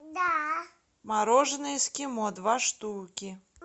мороженое эскимо два штуки